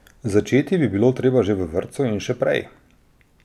Začeti bi bilo treba že v vrtcu in še prej.